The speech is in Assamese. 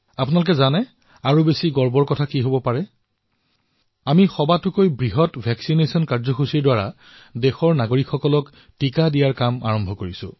আপোনালোকে জানে ইয়াতকৈ গৌৰৱৰ কথা আৰু কি হব পাৰে আমি সবাতোকৈ বৃহৎ প্ৰতিষেধক কাৰ্যসূচীৰ সৈতে বিশ্বত সবাতোকৈ ক্ষীপ্ৰতাৰে নিজৰ নাগৰিকসমূহৰো টীকাকৰণ কৰি আছো